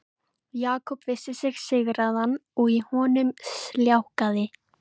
Jakob vissi sig sigraðan og í honum sljákkaði.